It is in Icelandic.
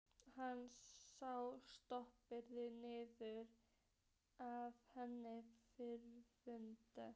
Hann sá spottann niður að henni framundan.